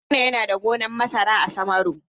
Haruna yana da gonan masara a Samaru.